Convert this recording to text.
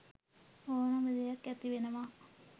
ඕනෑම දෙයක් ඇති වෙනවා